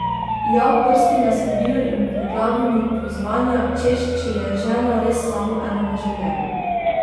Ja, prsti me srbijo in v glavi mi pozvanja, češ če je žena res samo ena v življenju.